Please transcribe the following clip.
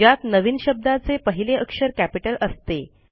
ज्यात नवीन शब्दाचे पहिले अक्षर कॅपिटल असते